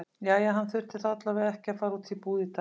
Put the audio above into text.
Jæja, hann þyrfti þá alla vega ekki að fara út í búð í dag.